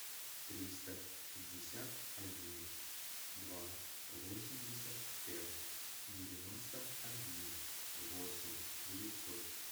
триста шестьдесят один два восемьдесят пять девяносто один восемь девятьсот